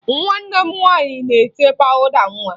Nwanne m nwaanyị na-ete pawụda nwa